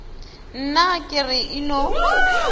nna ke re e no